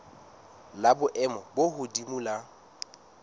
la boemo bo hodimo la